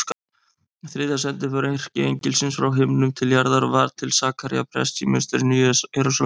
Þriðja sendiför erkiengilsins frá himnum til jarðar var til Sakaría prests í musterinu í Jerúsalem.